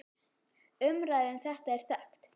Umræða um þetta er þekkt.